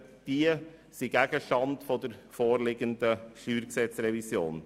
Sie sind Gegenstand der vorliegenden StG-Revision.